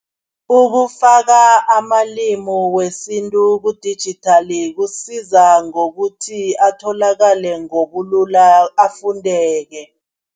Ukufaka amalimu wesintu kudijithali kusiza ngokuthi, atholakale ngobulula, afundeke.